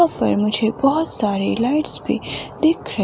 यहां पर मुझे बहुत सारी लाइट्स भी दिख रही--